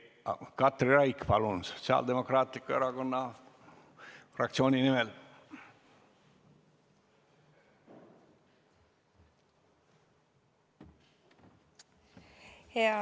Katri Raik, palun Sotsiaaldemokraatliku Erakonna fraktsiooni nimel!